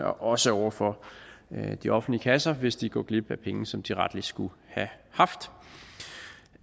også over for de offentlige kasser hvis de går glip af penge som de rettelig skulle have haft